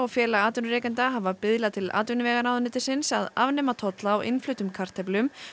félagi atvinnurekenda hafa biðlað til atvinnuvegaráðuneytisins um að afnema tolla á innfluttum kartöflum